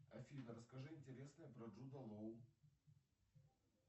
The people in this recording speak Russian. афина расскажи интересное про джуда лоу